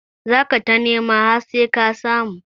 Za ka ta nema har sai ka samu